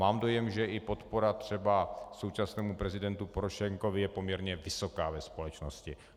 Mám dojem, že i podpora třeba současnému prezidentu Porošenkovi je poměrně vysoká ve společnosti.